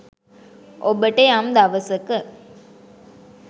ඔබට යම් දවසක